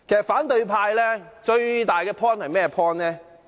反對派最大的理據是甚麼？